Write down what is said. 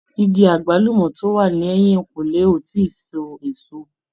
Igi àgbálùmọ̀ tó wà ní ẹ̀yìnǹkùlé ò ì tí ì so èso.